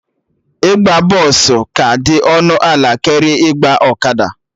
Ịgba bọsụ ka dị ọnụ ala karịa ịgba ọkada